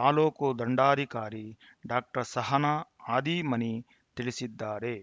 ತಾಲೂಕು ದಂಡಾಧಿಕಾರಿ ಡಾಕ್ಟರ್ ಸಹನಾ ಹಾದಿಮನಿ ತಿಳಿಸಿದ್ದಾರೆ